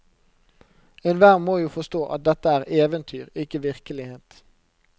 Enhver må jo forstå at dette er eventyr, ikke virkelighet.